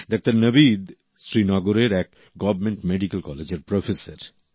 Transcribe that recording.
doctor Nabid শ্রীনগরের এক government medical কলেজের প্রফেসর